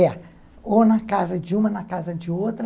É, ou na casa de uma, na casa de outra.